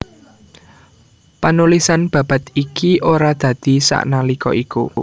Panulisan babad iki ora dadi sanalika iku